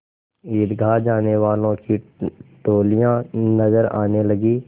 ईदगाह जाने वालों की टोलियाँ नजर आने लगीं